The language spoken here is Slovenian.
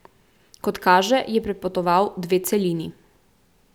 Kot kaže, je prepotoval dve celini.